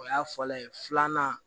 O y'a fɔlɔlen ye filanan